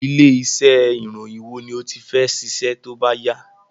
Ilé iṣẹ ìròyìn wo ni o ti fẹ́ ṣiṣẹ tóbá yá